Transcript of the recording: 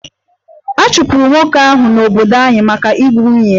A chụpụrụ nwoke ahụ n'obodo anyị maka igbu nwunye ya